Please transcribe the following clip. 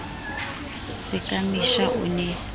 se ka mesha o ne